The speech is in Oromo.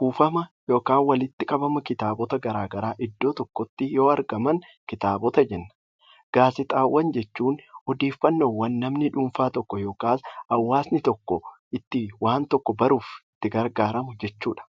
kuufama yookaan walitti qabama kitaabota garaagaraaiddoo tokkotti yoo argaman kitaabota jenna. Gaazexaawwan jechuun odeeffannoo namni dhuunfaa tokko yookaan hawaasni tokko itti waan tokko baruuf itti gargaaramu jechuudha.